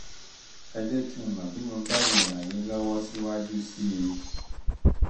ẹ jẹ́ kí n mọ̀ bí mo bá um lè ràn yín lọ́wọ́ síwájú um sí i